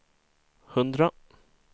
hundra